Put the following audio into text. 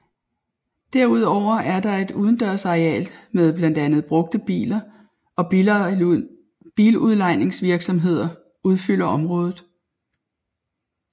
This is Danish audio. Derudover er der et udendørs areal med blandt andet brugte biler og biludlejningsvirksomheder udfylder området